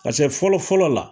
Paseke fɔlɔ fɔlɔ la